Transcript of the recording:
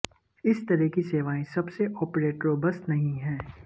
इस तरह की सेवाएं सबसे ऑपरेटरों बस नहीं है